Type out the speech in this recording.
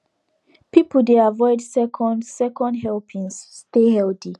people dey avoid second second helpings stay healthy